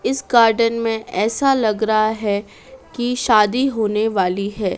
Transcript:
इस गार्डन में ऐसा लग रहा है कि शादी होने वाली है।